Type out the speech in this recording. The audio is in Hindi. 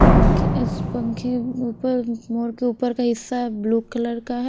पंख इस पंखे ऊपर मोर के ऊपर का हिस्सा ब्लू कलर का है।